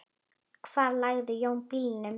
Hvar lagði Jón bílnum?